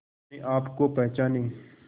अपने आप को पहचाने